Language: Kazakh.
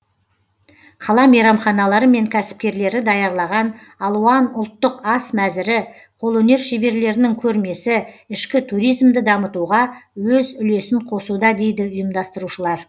қала мейрамханалары мен кәсіпкерлері даярлаған алуан ұлттың ас мәзірі қолөнер шеберлерінің көрмесі ішкі туризмді дамытуға өз үлесін қосуда дейді ұйымдастырушылар